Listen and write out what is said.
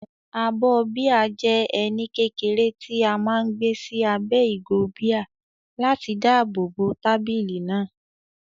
Abọ́ bíà jẹ́ ẹní kékeré tí a máa ń gbé sí abẹ́ ìgò bíà láti dáàbò bo tábìlì náà.